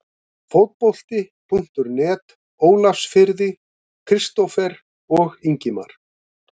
Fótbolti.net Ólafsfirði- Kristófer og Ingimar